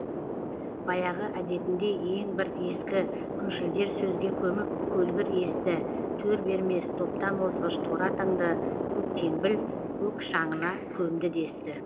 баяғы әдетіндей ең бір ескі күншілдер сөзге көміп көлгір есті төр бермес топтан озғыш торы атыңды көктеңбіл көк шаңына көмді десті